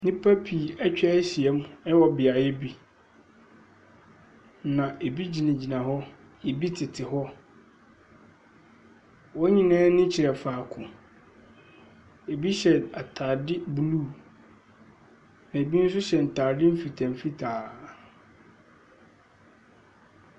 Nnipa pii etwa ahyia ɛwɔ beaeɛ bi. Na ebi gyina gyina hɔ, ebi tete hɔ. Wɔn nyinaa ani kyerɛ faako. Ebi hyɛ ataade blu. Ebi nso hyɛ ntaade fitaa fitaa.